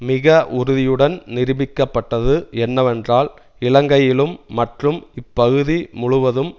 மிக உறுதியுடன் நிரூபிக்கப்பட்டது என்னவென்றால் இலங்கையிலும் மற்றும் இப்பகுதி முழுவதும்